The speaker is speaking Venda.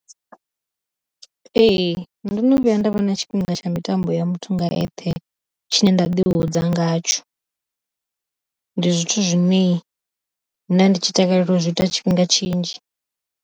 Ee ndono vhuya nda vha na tshifhinga tsha mitambo ya muthu nga eṱhe tshine nda ḓi hudza ngatsho, ndi zwithu zwine nda ndi tshi takalela u zwi ita tshifhinga tshinzhi.